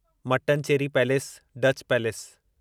Mattancherry palace Dutch palace